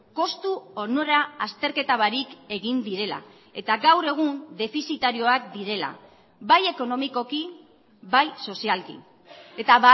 kostu onura azterketa barik egin direla eta gaur egun defizitarioak direla bai ekonomikoki bai sozialki eta